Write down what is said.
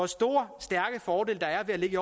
store og stærke fordele der er ved at ligge i